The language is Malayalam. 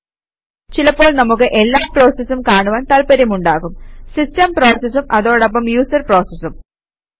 ചിലപ്പോൾ നമുക്ക് എല്ലാ പ്രോസസസും കാണുവാന് താത്പര്യമുണ്ടാകും സിസ്റ്റം പ്രോസസസും അതോടൊപ്പം യൂസര് പ്രോസസസും